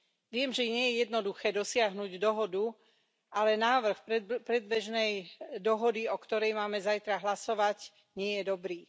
Viem, že nie je jednoduché dosiahnuť dohodu, ale návrh predbežnej dohody, o ktorej máme zajtra hlasovať, nie je dobrý.